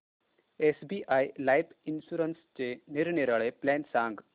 SBI life इन्शुरन्सचे निरनिराळे plan सांग